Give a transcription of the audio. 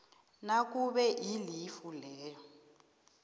nakube ilifu leyo